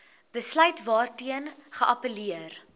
besluit waarteen geappelleer